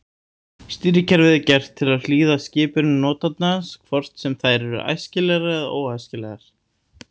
Stýrikerfið er gert til að hlýða skipunum notandans hvort sem þær eru æskilegar eða óæskilegar.